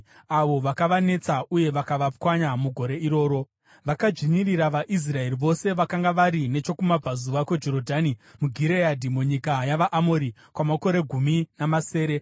avo vakavanetsa uye vakavapwanya mugore iroro. Vakadzvinyirira vaIsraeri vose vakanga vari nechokumabvazuva kweJorodhani muGireadhi, munyika yavaAmori, kwamakore gumi namasere.